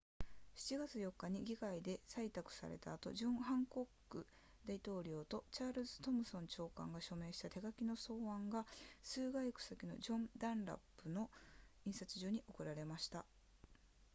7月4日に議会で採択された後ジョンハンコック大統領とチャールズトムソン長官が署名した手書きの草案が数街区先のジョンダンラップ社の印刷所に送られました